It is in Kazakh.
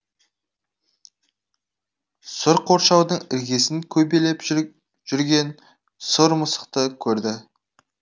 сұр қоршаудың іргесін көбелеп жүрген сұр мысықты көрді